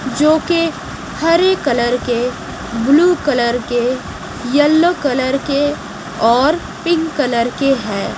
जो कि हरे कलर के ब्लू कलर के येलो कलर के और पिंक कलर के है।